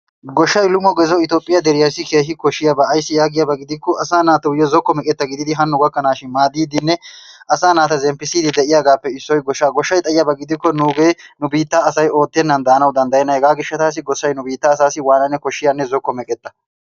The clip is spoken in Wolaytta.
Goshshay lummegezossi Itoophphiyaa deriyassi keehi koshshiyaabba ayissi yaagiyaabba gidikko asaa naattuyo zokko meqqetta gididdi hanno gakkanashshin maadidinne asa naatta zemppisidi de'iyaabappe issoy goshshaa. Goshshay xayibba giddikko nuugge nu biitta asay oottenani daanawu dandayenna heggassi goshshay nu biitta asassi waananne zokko meqqetta.